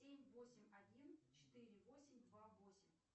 семь восемь один четыре восемь два восемь